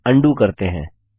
इसे अन्डू करते हैं